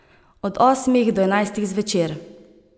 Od osmih do enajstih zvečer.